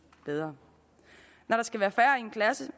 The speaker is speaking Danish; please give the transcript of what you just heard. bedre når der skal være færre i en klasse